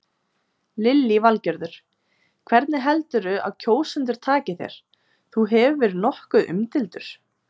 Lillý Valgerður: Hvernig heldurðu að kjósendur taki þér, þú hefur verið nokkuð umdeildur?